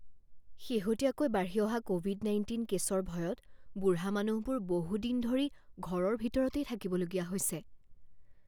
শেহতীয়াকৈ বাঢ়ি অহা ক'ভিড নাইণ্টিন কেছৰ ভয়ত বুঢ়া মানুহবোৰ বহুদিন ধৰি ঘৰৰ ভিতৰতেই থাকিবলগীয়া হৈছে।